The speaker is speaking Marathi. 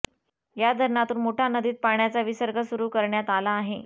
या धरणातून मुठा नदीत पाण्याचा विसर्ग सुरू करण्यात आला आहे